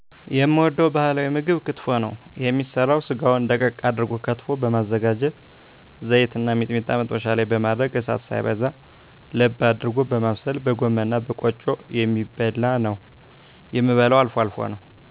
የምወደዉ ባህላዊ ምግብ ክትፎ ነዉ የሚሰራዉ ስጋዉን ደቀቅ አድርጎ ከትፎ በማዘጋጀት ዘይትና ሚጥሚጣ መጥበሻ ላይ በማድረግ እሳት ሳይበዛ ለብ አድርጎ በማብሰል በጎመንእና በቆጮ የሚበላነዉ የምበላዉ አልፎ አልፎ ነዉ